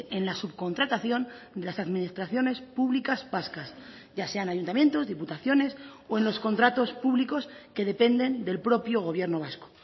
en la subcontratación de las administraciones públicas vascas ya sean ayuntamientos diputaciones o en los contratos públicos que dependen del propio gobierno vasco